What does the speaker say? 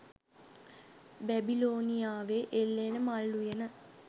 බැබිලෝනියාවේ එල්ලෙන මල් උයන